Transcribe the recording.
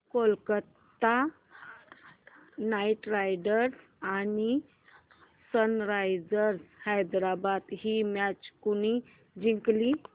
Kolkata knight riders आणि sunrisers Hyderabad ही match कोणी जिंकली